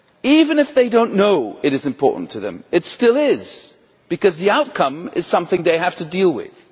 Even if they do not know it is important to them, it still is, because the outcome is something they have to deal with.